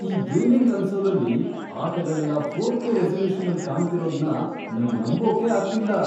ಈ ಗೇಮಿಂಗ್ ಕನ್ಸೋಲಲ್ಲಿ ಆಟಗಳೆಲ್ಲ ಫೋರ್ಕೆ ರೆಸಲ್ಯೂಷನ್ನಲ್ ಕಾಣ್ತಿರೋದ್ನ ನಂಗ್ ನಂಬೋಕೆ ಆಗ್ತಿಲ್ಲ.